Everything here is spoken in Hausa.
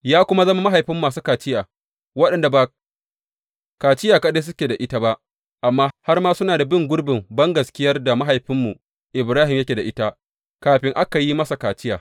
Ya kuma zama mahaifin masu kaciya waɗanda ba kaciya kaɗai suke da ita ba amma har ma suna bin gurbin bangaskiyar da mahaifinmu Ibrahim yake da ita kafin aka yi masa kaciya.